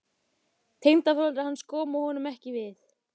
Tengdaforeldrar hans komu honum ekki við.